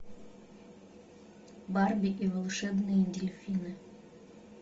барби и волшебные дельфины